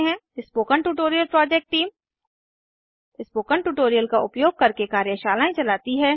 spoken tutorial project टीम160 spoken tutorial का उपयोग करके कार्यशालाएं चलती है